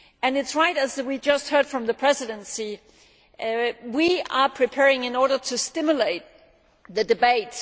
It is true, as we just heard from the Presidency, that we are preparing in order to stimulate the debate